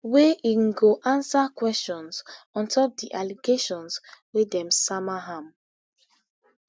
wa im go ansa questions ontop di allegations wey dem sama am